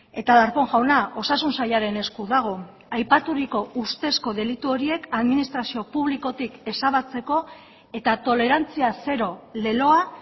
eta darpón jauna osasun sailaren esku dago aipaturiko ustezko delitu horiek administrazio publikotik ezabatzeko eta tolerantzia zero leloa